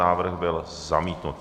Návrh byl zamítnut.